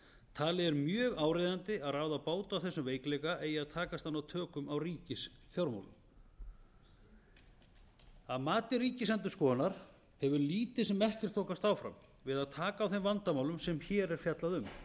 talið er mjög áríðandi að ráða bót á þessum veikleika eigi að takast að ná tökum á ríkisfjármálum að mati ríkisendurskoðunar hefur lítið sem ekkert þokast áfram við að taka á þeim vandamálum sem hér er fjallað um